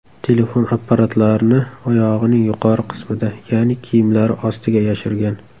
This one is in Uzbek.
telefon apparatlarini oyog‘ining yuqori qismida, ya’ni kiyimlari ostiga yashirgan.